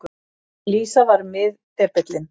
Lísa var miðdepillinn.